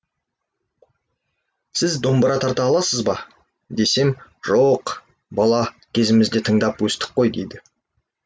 сіз домбыра тарта аласыз ба десем жооқ бала кезімізден тыңдап өстік қой дейді